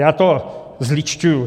Já to zlidšťuji.